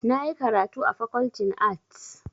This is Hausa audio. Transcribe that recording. Na yi karatu a Fakoltin Arts.